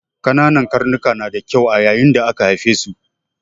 Ƙananan karnika na da kyau yayin da aka haife su.